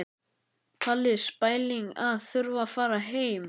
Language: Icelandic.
Páll: Spæling að þurfa að fara heim?